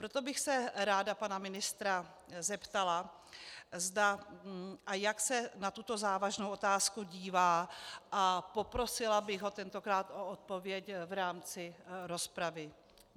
Proto bych se ráda pana ministra zeptala, zda a jak se na tuto závažnou otázku dívá, a poprosila bych ho tentokrát o odpověď v rámci rozpravy.